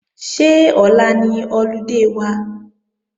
Ṣé ọ̀la ni ọludé wa?